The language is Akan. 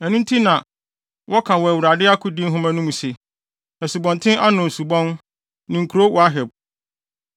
Ɛno nti na, wɔka wɔ Awurade akodi nhoma no mu se, asubɔnten Arnon subon ne kurow Waheb